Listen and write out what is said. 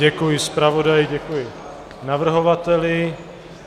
Děkuji zpravodaji, děkuji navrhovateli.